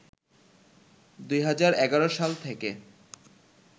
২০১১ সাল থেকে